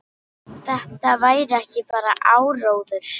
Þetta væri ekki bara áróður.